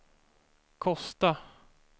Kosta